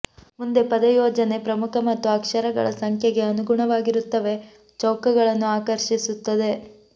ಮುಂದೆ ಪದ ಯೋಜನೆ ಪ್ರಮುಖ ಮತ್ತು ಅಕ್ಷರಗಳ ಸಂಖ್ಯೆಗೆ ಅನುಗುಣವಾಗಿರುತ್ತವೆ ಚೌಕಗಳನ್ನು ಆಕರ್ಷಿಸುತ್ತದೆ